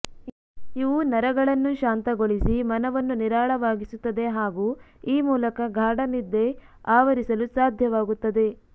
ಇವು ನರಗಳನ್ನು ಶಾಂತಗೊಳಿಸಿ ಮನವನ್ನು ನಿರಾಳವಾಗಿಸುತ್ತದೆ ಹಾಗೂ ಈ ಮೂಲಕ ಗಾಢ ನಿದ್ದೆ ಆವರಿಸಲು ಸಾಧ್ಯವಾಗುತ್ತದೆ